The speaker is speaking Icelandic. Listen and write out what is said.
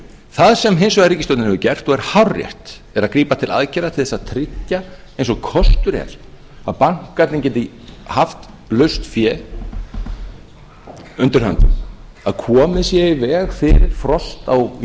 það sem hins vegar ríkisstjórnin hefur gert og er hárrétt er að grípa til aðgerða til þess að tryggja eins og kostur er að bankarnir geti haft laust fé undir hinu að komið sé í veg fyrir frost á